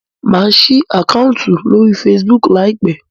Má sí Àkáùntì lórí Facebook láìpé